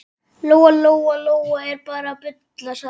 Lóa Lóa er bara að bulla, sagði mamma.